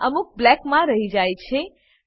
જેમાં અમુક બ્લેક માં રહી જાય છે